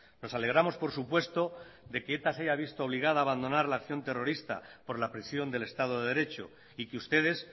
nos alegramos por supuesto de que eta se haya visto obligada a abandonar la acción terrorista por la presión del estado de derecho y que ustedes